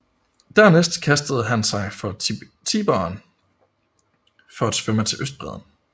Dernæst kastede han sig i Tiberen for at svømme til østbredden